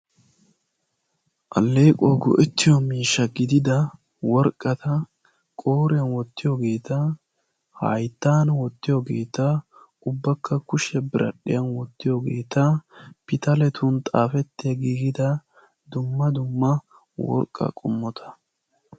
Alleequwaawu go"ettiyoo miishsha gidida worqqata qooriyaan wottiyoogeta hayttan wottiyoogeta ubbakka qassi kushiyaa biradhdhiyaan wottiyoogeta pitaletun xaafettiyaageta dumma dumma worqqaa qomota.